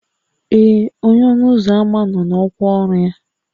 Ee, onye ọnụ ụzọ ámá nọ n'ọkwa ọrụ ya